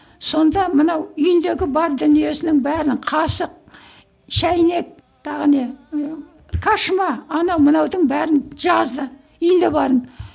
сонда мынау үйіндегі бар дүниесінің бәрін қасық шәйнек тағы не ы кошма анау мынаудың бәрін жазды үйінде барын